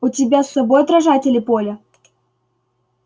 у тебя с собой отражатели поля